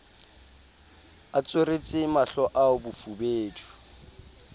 a tsweretse mahlo ao bofubedu